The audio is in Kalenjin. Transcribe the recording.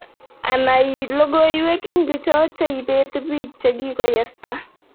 Ana ii logoywek ingocho che ibetibiich che kikoyesta